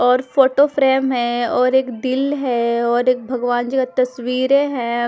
और फोटोफ्रेम है और एक दील है और एक भगवान जी का तस्वीरे है।